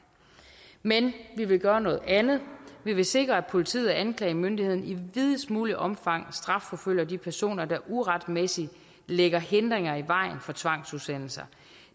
men vi vil gøre noget andet vi vil sikre at politiet og anklagemyndigheden i videst muligt omfang strafforfølger de personer der uretmæssigt lægger hindringer i vejen for tvangsudsendelser